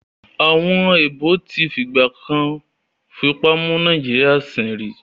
Àwọn èèbó tí fìgbà kan fipá mú Nàìjíríyà sìn rí